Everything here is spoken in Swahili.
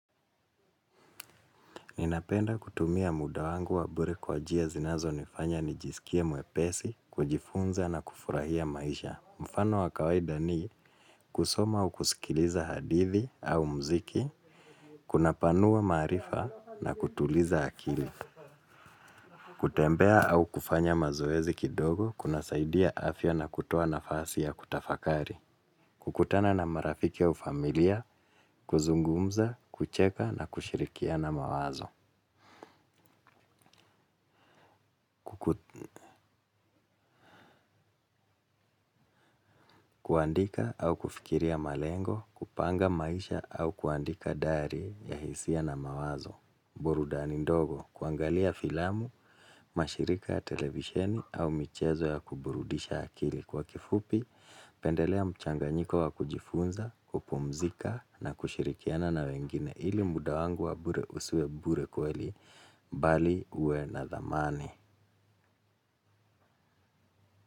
Ninapenda kutumia muda wangu wa bure kwa jia zinazo nifanya nijisikie mwepesi, kujifunza na kufurahia maisha. Mfano wa kawaida ni kusoma au kusikiliza hadithi au mziki kuna panua maarifa na kutuliza akili. Kutembea au kufanya mazoezi kidogo kuna saidia afya na kutoa na fasi ya kutafakari. Kukutana na marafiki au familia, kuzungumza, kucheka na kushirikiana mawazo. Kuandika au kufikiria malengo kupanga maisha au kuandika dairy ya hisia na mawazo. Burudani ndogo, kuangalia filamu, mashirika ya televisheni au michezo ya kuburudisha akili. Kwa kifupi, pendelea mchanganyiko wa kujifunza, kupumzika na kushirikiana na wengine ili mudawangu wabure usiwe bure kweli, bali uwe na thamani.